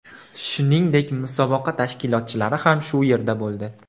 Shuningdek, musobaqa tashkilotchilari ham shu yerda bo‘ldi.